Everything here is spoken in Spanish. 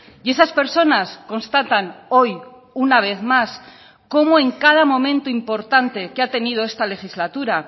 y esas personas constatan hoy una vez más como en cada momento importante que ha tenido esta legislatura